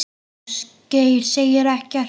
Ásgeir segir ekkert.